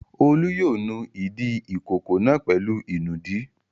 Olú yóò nu ìdí ìkókó náà pẹ̀lú ìnùdí.